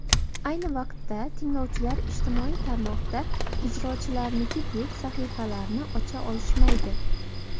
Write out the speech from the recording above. Ayni vaqtda, tinglovchilar ijtimoiy tarmoqda ijrochilarnikidek sahifalarni ocha olishmaydi.